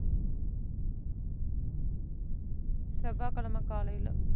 செவ்வாய்கிழமை காலையில,